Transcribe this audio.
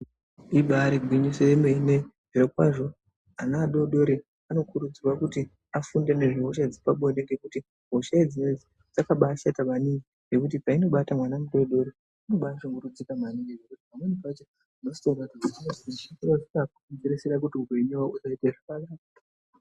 Ibaari gwinyiso yemene, zvirokwazvo ana adodori anokurudzirwa kuti afunde nezvehosha dzepabonde ngekuti hosha idzona idzo, dzakabaashata maningi, nekuti painobata mwana mudodori unobaatoshungurudzika maningi, pamweni pacho unotozoona kuti inosvika pakugurisire kuti upenyu hwavo husaite zvakanaka.